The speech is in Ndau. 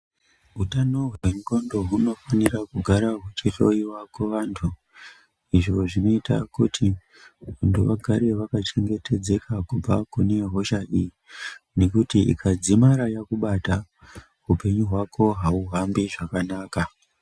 Hutano hendxondo hunofanira kugara huchihlowa kuvantu. Izvo zvinota kuti vantu vagare vakachengetedzeka kubva kune hosha iyi. Nekuti ikadzimara yakubata hupenyu hwako hauhambi zvakanaka.